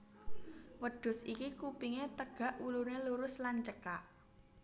Wêdhus iki kupingé têgak wuluné lurus lan cêkak